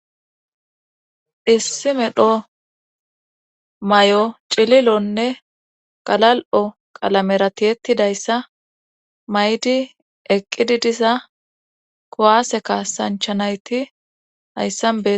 Issi medho may'o cililonne qalal'o qalamerati ettidayssa maydi eqqidi disa kowaase ka sanchanayti hayssanbe.